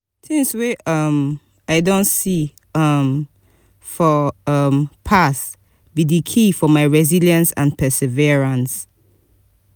tings wey um i don see um for um past be di key for my resilience and perseverance.